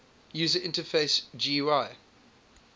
user interface gui